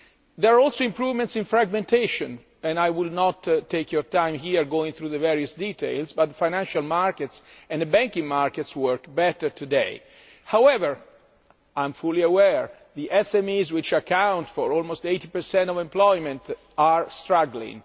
There are also improvements in fragmentation, and I will not take your time here going through the various details, but the financial markets and the banking markets work better today. However, I am fully aware that the SMEs, which account for almost 80 of employment, are struggling.